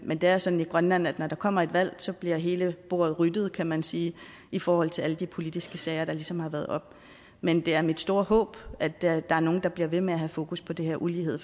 men det er sådan i grønland at når der kommer et valg bliver hele bordet ryddet kan man sige i forhold til de politiske sager der ligesom har været oppe men det er mit store håb at der er er nogle der bliver ved med at have fokus på den her ulighed